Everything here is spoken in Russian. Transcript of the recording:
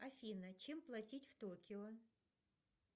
афина чем платить в токио